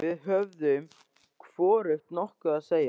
Við höfðum hvorugt nokkuð að segja.